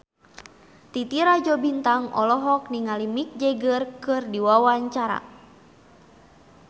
Titi Rajo Bintang olohok ningali Mick Jagger keur diwawancara